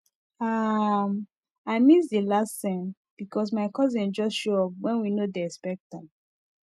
um i miss the last scene because my cousin just show up when we no dey expect am